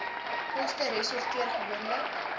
koste resorteer gewoonlik